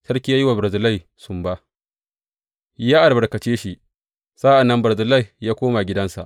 Sarki ya yi wa Barzillai sumba ya albarkace shi, sa’an nan Barzillai ya koma gidansa.